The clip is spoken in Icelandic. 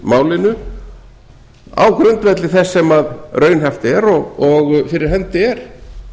málinu á grundvelli þess sem raunhæft er og fyrir hendi er